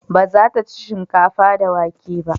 Ba za ta ci shinkafa da wake ba